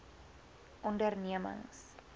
ondernemings